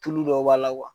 Tulu dɔ b'a la